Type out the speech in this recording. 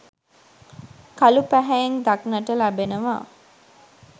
කළු පැහැයෙන් දක්නට ලැබෙනවා.